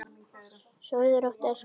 Sofðu rótt, elsku vinur.